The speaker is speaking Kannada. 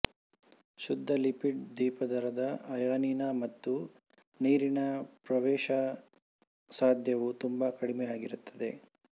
ಶುದ್ಧ ಲಿಪಿಡ್ ದ್ವಿಪದರದ ಅಯಾನಿನ ಮತ್ತು ನೀರಿನ ಪ್ರವೇಶಸಾಧ್ಯವು ತುಂಬಾ ಕಡಿಮೆಯಾಗಿರುತ್ತದೆ